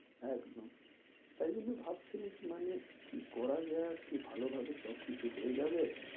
একদম তাই জন্য ভাবছিলাম কি মানে কি করা যায় আর কি ভালো ভাবে সব কিছু সব কিছু হয়ে যাবে